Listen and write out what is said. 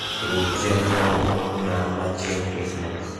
ruch chenro na machieng krismas